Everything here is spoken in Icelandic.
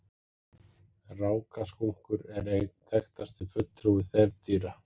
Rákaskunkur er einn þekktasti fulltrúi þefdýra.